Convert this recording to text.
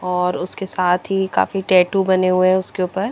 और उसके साथ ही काफी टेटू बने हुए है उसके उपर --